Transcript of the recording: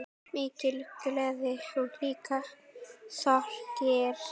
Mikil gleði og líka sorgir.